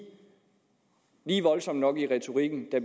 voldsom nok i retorikken da